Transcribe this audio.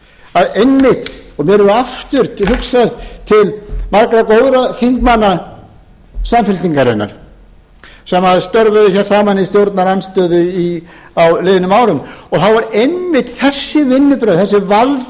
að einmitt og mér verður aftur hugsað til margra góðra þingmanna samfylkingarinnar sem störfuðu hér saman í stjórnarandstöðu á liðnum árum og þá voru einmitt þessi vinnubrögð